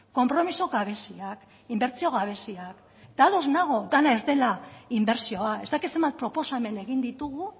konpromiso gabeziak inbertsio gabeziak eta ados nago dena ez dela inbertsioa ez dakit zenbat proposamen egin ditugu